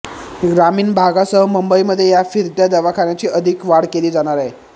ग्रामीण भागासह मुंबईमध्ये या फिरत्या दवाखान्याची अधिक वाढ केली जाणार आहे